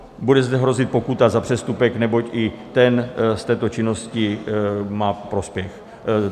Bude zde hrozit pokuta za přestupek, neboť i ten z této činnosti má prospěch.